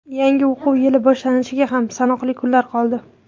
Yangi o‘quv yili boshlanishiga ham sanoqli kunlar qoldi.